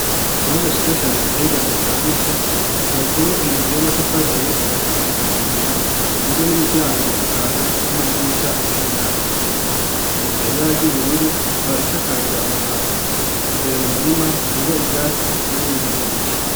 Ikibanza cize cane giteye igomwe cagutse cubatsemo inzu y'amatafari ahiye kuva asigushika hejuru igizwe n'imiryango itanu n'amadirisha cumi nabiri .Isize ibara ry'ubururu ikaba isakaje amabati imbere mu murima hateyemo ivyatsi harimo n'impene nyinshi.